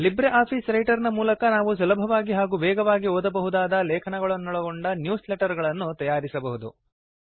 Libre Office Writer ನ ಮೂಲಕ ನಾವು ಸುಲಭವಾಗಿ ಹಾಗೂ ವೇಗವಾಗಿ ಓದಬಹುದಾದ ಲೇಖನಗಳನ್ನೊಳಗೊಂಡ ನ್ಯೂಸ್ ಲೆಟರ್ ಗಳನ್ನು ತಯಾರಿಸಬಹುದು